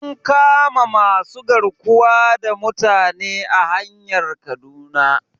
An kama masu garkuwa da mutane a hanyar kaduna